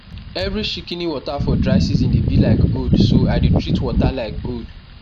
every shikini water for dry season dey bi like gold so i dey treat water like gold